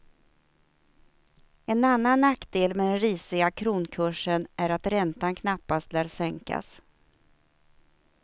En annan nackdel med den risiga kronkursen är att räntan knappast lär sänkas.